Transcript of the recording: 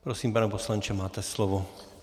Prosím, pane poslanče, máte slovo.